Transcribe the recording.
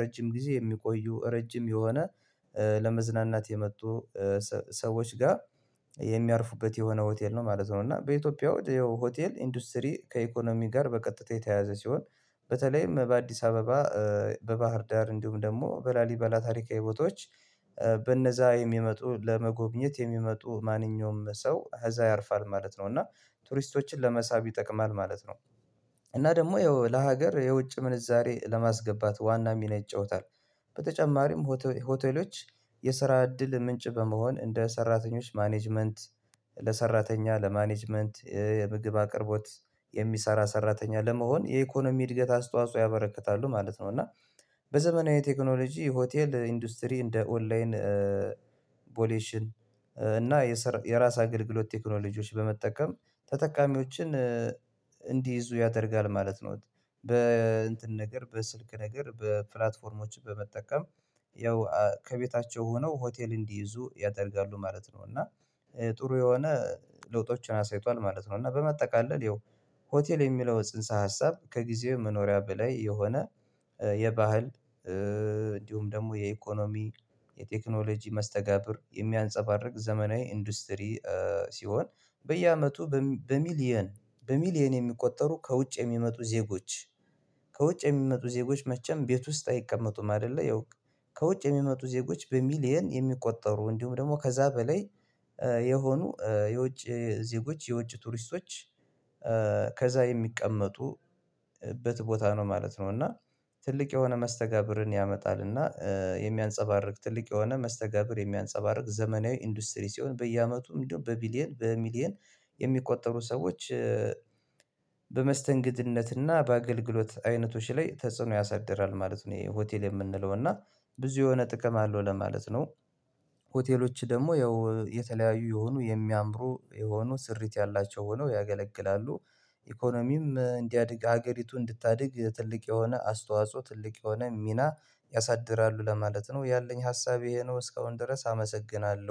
ረጅም ጊዜ የሚቆዩ ረጅም የሆነ ለመዝናናት የመጡ ሰዎች ጋር የሚያርፉበት የሆነ ሆቴል ነው ማለት ነው። እና በኢትዮጵያ አውድ ሆቴል ኢንዱስትሪ ከኢኮኖሚ ጋር በቀጥታ የተያዘ ሲሆን በተለይም በአዲስ አበባ በባህር ዳር እንዲሁም ደግሞ በላሊበላ ታሪካዊ ቦታዎች በነዛ የሚመጡ ለመጎብኘት የሚመጡ ማንኛውም ሰው እዛ ያርፋል ማለት ነው እና ቱሪስቶችን ለመሳብ ይጠቅማል ማለት ነው። እና ደግሞ ለሀገር የውጭ ምንዛሬ ለማስገባት ዋና ሚና ይጫወታል። በተጨማሪም ሆቴሎች የስራ እድል ምንጭ በመሆን እንደ ሰራተኞች ማኔጅመንት ለሰራተኛ ለማኔጅመንት የምግብ አቅርቦት የሚሰራ ሰራተኛ ለመሆን የኢኮኖሚ እድገት አስተዋጽኦ ያበረክታሉ ማለት ነው። እና በዘመናዊ ቴክኖሎጂ ሆቴል ኢንዱስትሪ እንደ ኦንላይን ቦሌሽን እና የራስ አገልግሎት ቴክኖሎጂዎች በመጠቀም ተጠቃሚዎችን እንዲይዙ ያደርጋል ማለት ነው። በእንትን ነገር በስልክ ነገር በፕላትፎርሞችን በመጠቀም ያው ከቤታቸው ሆነው ሆቴል እንዲይዙ ያደርጋሉ ማለት ነው። እና ጥሩ የሆነ ለውጦችን አሳይቷል ማለት ነው። እና በማጠቃለል ያው ሆቴል የሚለው ጽንሰ ሀሳብ ከጊዜው መኖሪያ በላይ የሆነ የባህል እንዲሁም ደግሞ የኢኮኖሚ የቴክኖሎጂ መስተጋብር የሚያንፀባርቅ ዘመናዊ ኢንዱስትሪ። ሲሆን በየአመቱ በሚሊየን በሚሊየን የሚቆጠሩ ከውጭ የሚመጡ ዜጎች ከውጭ የሚመጡ ዜጎች መቼም ቤት ውስጥ አይቀመጡም አይደለ ያው ከውጭ የሚመጡ ዜጎች በሚሊየን የሚቆጠሩ እንዲሁም ደግሞ ከዛ በላይ የሆኑ የውጭ ዜጎች የውጭ ቱሪስቶች ከዛ የሚቀመጡበት ቦታ ነው ማለት ነው። እና ትልቅ የሆነ መስተጋብርን ያመጣልና የሚያንፀባርቅ ትልቅ የሆነ መስተጋብር የሚያንፀባርቅ ዘመናዊ ኢንዱስትሪ ሲሆን በየአመቱም እንደው በቢሊየን በሚሊየን የሚቆጠሩ ሰዎች በመስተንግድነትና በአገልግሎት አይነቶች ላይ ተጽዕኖ ያሳድራል ማለት ነው። ይሄ ሆቴል የምንለው እና ብዙ የሆነ ጥቅም አለው ለማለት ነው። ሆቴሎች ደግሞ ያው የተለያዩ የሆኑ የሚያምሩ የሆኑ ስሪት ያላቸው ሆኖ ያገለግላሉ። ኢኮኖሚም እንዲያድግ ሀገሪቱን እንድታድግ ትልቅ የሆነ አስተዋጽኦ ትልቅ የሆነ ሚና ያሳድራሉ ለማለት ነው ያለኝ ሀሳቤ ይሄ ነው እስካሁን ድረስ አመሰግናለሁ